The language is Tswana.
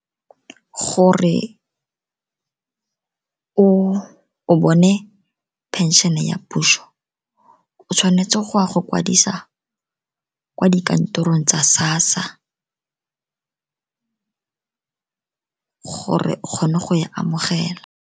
Gore o bone phenšhene ya puso, o tshwanetse go ya go kwadisa kwa dikantorong tsa SASSA gore o kgone go e amogela.